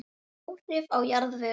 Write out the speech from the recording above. Áhrif á jarðveg